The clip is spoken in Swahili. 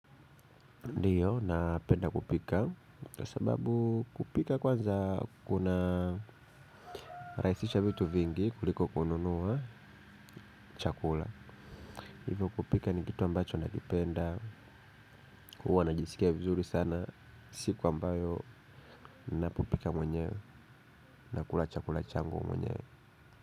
Ndiyo, napenda kupika. Kwa sababu kupika kwanza kunarahisisha vitu vingi kuliko kununua chakula. Hivo kupika ni kitu ambacho nakipenda huwa najisikia vizuri sana. Siku ambayo ninapopika mwenyewe nakula chakula changu mwenyewe.